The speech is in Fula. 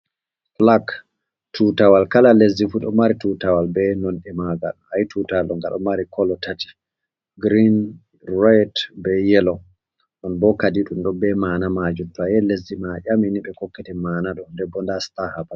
Bulak tutawal kala lesdifu ɗo mari tutawal be nonde magal ayi'i tutalwal ɗo nga ɗo mari kolo tati girin, red be yelo, nonbo kadi ɗum ɗo be ma'na majum, toye lesdi ma aƴamini ɓe hokketen mana do, ndenbo nda sita haɓa.